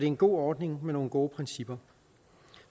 en god ordning med nogle gode principper